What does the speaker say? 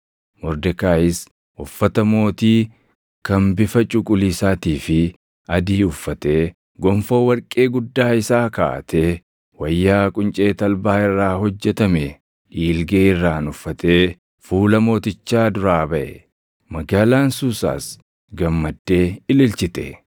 Mordekaayis uffata mootii kan bifa cuquliisaatii fi adii uffatee, gonfoo warqee guddaa isaa kaaʼatee wayyaa quncee talbaa irraa hojjetame dhiilgee irraan uffatee fuula mootichaa duraa baʼe. Magaalaan Suusaas gammaddee ililchite.